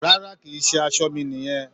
Rárá, kì í ṣe aṣọ mi nìyẹn.